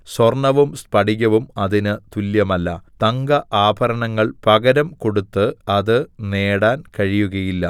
സ്വർണ്ണവും സ്ഫടികവും അതിന് തുല്ല്യമല്ല തങ്കആഭരണങ്ങൾ പകരം കൊടുത്ത് അത് നേടാൻ കഴിയുകയില്ല